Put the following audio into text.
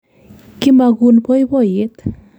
Kimakuun poipoiyet.